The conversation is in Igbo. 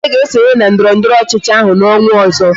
Chike ga-esonye na ndọrọndọrọ ọchịchị ahụ n'ọnwa ọzọ